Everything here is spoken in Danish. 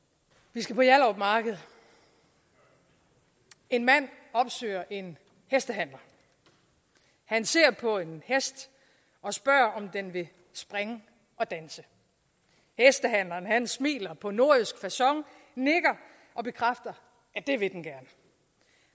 vi skal på hjallerup marked en mand opsøger en hestehandler han ser på en hest og spørger om den vil springe og danse hestehandleren smiler på nordjysk facon nikker og bekræfter at det vil den gerne